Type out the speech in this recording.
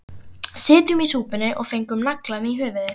Sitjum í súpunni og fengum naglann í höfuðið